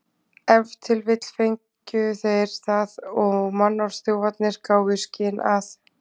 Ef til vill fengu þeir það og mannorðsþjófarnir gáfu í skyn að